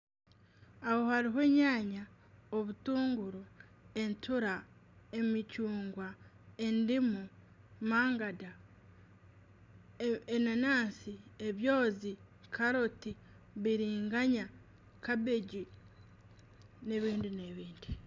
Aho hariho enyaanya, obutunguru, entura, emicungwa, endimu, mangada, enanansi, ebyozi, karoti, biringanya, kabegi n'ebindi n'ebindi.